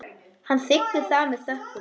Hann þiggur það með þökkum.